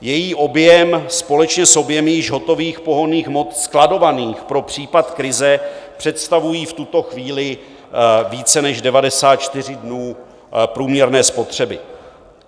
Její objem společně s objemy již hotových pohonných hmot skladovaných pro případ krize představují v tuto chvíli více než 94 dnů průměrné spotřeby.